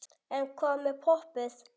En hvað með poppið?